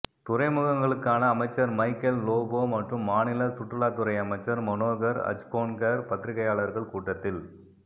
துறைமுகங்களுக்கான அமைச்சர் மைக்கேல் லோபோ மற்றும் மாநில சுற்றுலாத்துறை அமைச்சர் மனோகர் அஜ்கோன்கர் பத்திரிக்கையாளர்கள் கூட்டத்தில்